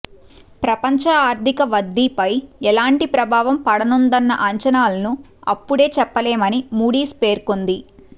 ప్రపంచ ఆర్థిక వద్ధిపై ఎలాంటి ప్రభావం పడనుందన్న అంచనాలను అప్పుడే చెప్పలేమని మూడీస్ పేర్కొంది